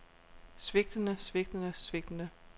svigtende svigtende svigtende